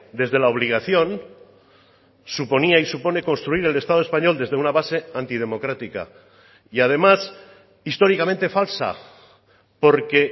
desde la obligación suponía y supone construir el estado español desde una base antidemocrática y además históricamente falsa porque